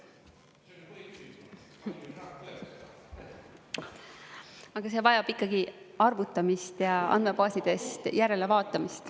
Aga see vajab ikkagi arvutamist ja andmebaasidest järelevaatamist.